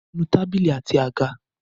Nu tábìlì àti àga!